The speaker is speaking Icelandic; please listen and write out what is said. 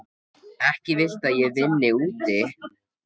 Ekki viltu að ég vinni úti.